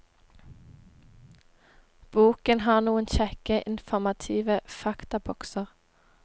Boken har noen kjekke, informative faktabokser.